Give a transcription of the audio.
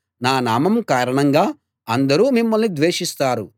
నా నామం కారణంగా అందరూ మిమ్మల్ని ద్వేషిస్తారు